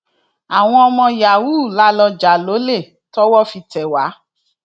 àwọn ọmọ yahoo la lọọ jà lọlẹ tọwọ fi tẹ wá